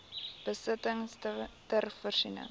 besittings ter voorsiening